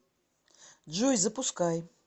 джой запускай